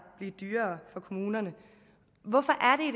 blive dyrere for kommunerne hvorfor